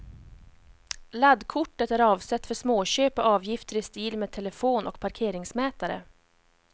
Laddkortet är avsett för småköp och avgifter i stil med telefon och parkeringsmätare.